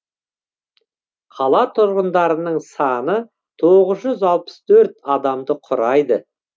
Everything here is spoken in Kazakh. қала тұрғындарының саны тоғыз жүз алпыс төрт адамды құрайды